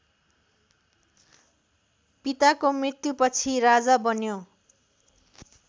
पिताको मृत्युपछि राजा बन्यो